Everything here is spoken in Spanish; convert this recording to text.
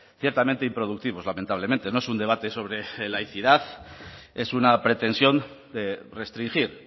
ciertamente improductivos lamentablemente no es un debate sobre laicidad es una pretensión de restringir